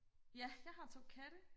ja jeg har to katte